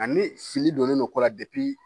A ni fili donnen don ko la